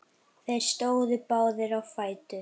Þeir stóðu báðir á fætur.